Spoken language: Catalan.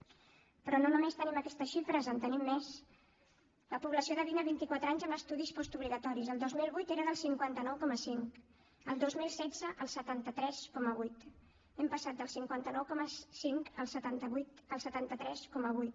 però no només tenim aquestes xifres en tenim més la població de vint a vint i quatre anys amb estudis postobligatoris el dos mil vuit era del cinquanta nou coma cinc el dos mil setze el setanta tres coma vuit hem passat del cinquanta nou coma cinc al setanta tres coma vuit